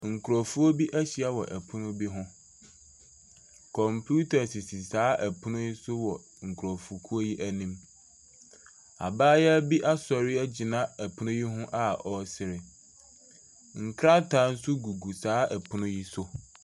Nkurofoɔ bi ahyia wɔ ɛpono bi ho. Kɔmpiuta sisi saa ɛpono yi so wɔ nkurofokuw yi anim. Abaayewa bi asɔre egyina ɛpono yi ho a ɔsere. Nkrataa nso gugu saa ɔpono yi so.